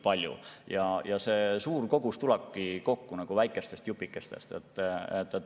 Eks see suur kogus tulebki kokku väikestest jupikestest.